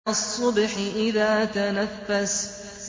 وَالصُّبْحِ إِذَا تَنَفَّسَ